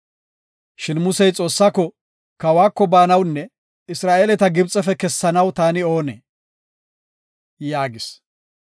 Shin Musey, “Kawako baanawunne Isra7eeleta Gibxefe kessanaw taani oonee?” yaagis.